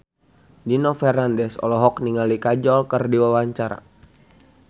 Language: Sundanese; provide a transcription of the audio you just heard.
Nino Fernandez olohok ningali Kajol keur diwawancara